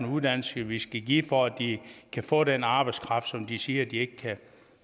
uddannelse vi skal give for at de kan få den arbejdskraft som de siger at de ikke